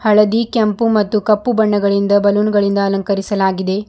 ಹಳದಿ ಕೆಂಪು ಮತ್ತು ಕಪ್ಪು ಬಣ್ಣಗಳಿಂದ ಬಲೂನ್ ಗಳಿಂದ ಅಲಂಕರಿಸಲಾಗಿದೆ.